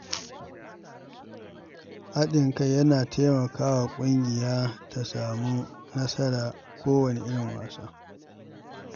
Haɗin kai yana taimaka wa ƙungiya ta samu nasara a kowane irin wasa.